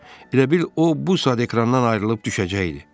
Elə bil o bu saat ekrandan ayrılıb düşəcəkdi.